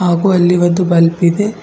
ಹಾಗು ಅಲ್ಲಿ ಒಂದು ಬಲ್ಬ್ ಇದೆ.